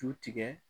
Ju tigɛ